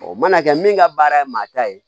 O mana kɛ min ka baara ye maa ta ye